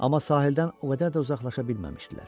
Amma sahildən o qədər də uzaqlaşa bilməmişdilər.